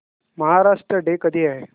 Maharashtra day कधी आहे